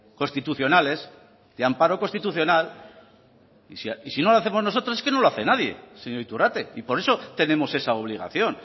constitucionales de amparo constitucional y si no lo hacemos nosotros es que no lo hace nadie señor iturrate y por eso tenemos esa obligación